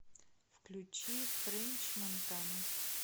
включи френч монтана